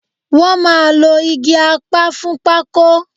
Wọ́n máa lo igi apá fún pákó